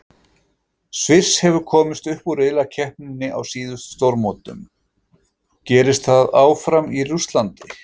Sviss hefur komist upp úr riðlakeppninni á síðustu stórmótum, gerist það áfram í Rússlandi?